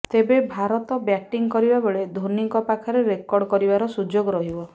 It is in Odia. ତେବେ ଭାରତ ବ୍ୟାଟିଂ କରିବା ବେଳେ ଧୋନିଙ୍କ ପାଖରେ ରେକର୍ଡ କରିବାର ସୁଯୋଗ ରହିବ